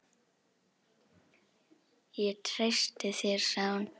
Ég treysti þér sagði hún.